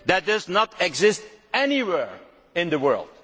That does not exist anywhere in the world.